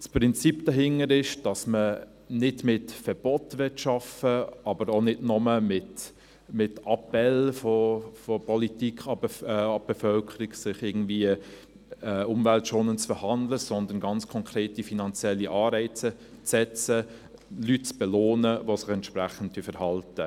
Das Prinzip dahinter ist, dass man nicht mit Verboten arbeiten will, aber auch nicht nur mit Appellen der Politik an die Bevölkerung, sich irgendwie umweltschonend zu verhalten, sondern ganz konkrete finanzielle Anreize setzt, Leute zu belohnen, die sich entsprechend verhalten.